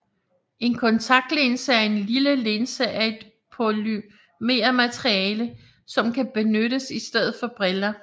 En kontaktlinse er en lille linse af et polymermateriale som kan benyttes i stedet for briller